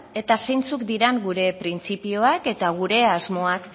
eta zeintzuk diran gure printzipioak eta gure asmoak